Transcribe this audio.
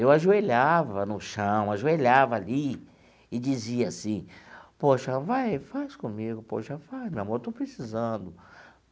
Eu ajoelhava no chão, ajoelhava ali e dizia assim, poxa, vai, faz comigo, poxa, vai, meu amor, estou precisando.